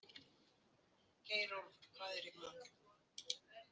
Geirólfur, hvað er í matinn?